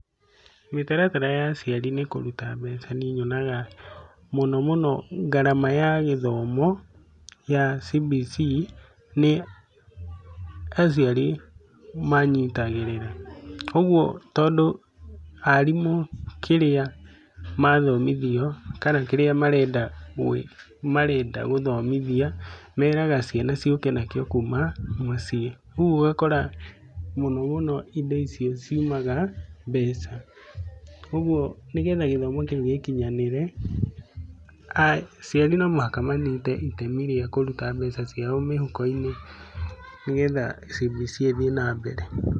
Mĩtaratara ya aciari nĩ kũruta mbeca. Niĩ nyonaga mũno mũno, ngarama ya gĩthomo ya CBC nĩ aciari manyitagĩrĩra. Ũgũo tondũ arimũ kĩrĩa ma thomithio, kana kĩrĩa marenda gũthomithia, meraga ciana ciũke nacio kuuma mũciĩ. ũguo ugakora mũno mũno indo icio ciumaga mbeca. ũgũo nigetha gĩthomo kĩu gĩkinyanĩre, aciari no muhaka manyite itemi rĩa kũruta mbeca ciao mĩhuko-inĩ. Nĩgetha CBC ĩthiĩ na mbere.